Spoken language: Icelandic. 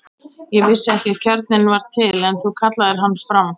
Ég vissi ekki að kjarninn var til, en þú kallaðir hann fram.